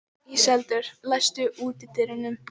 Íseldur, læstu útidyrunum.